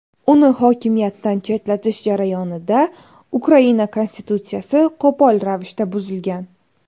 Uni hokimiyatdan chetlatish jarayonida Ukraina konstitutsiyasi qo‘pol ravishda buzilgan.